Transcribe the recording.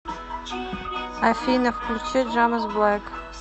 афина включи джамес блэк